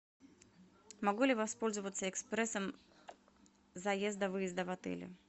могу ли воспользоваться экспрессом заезда выезда в отеле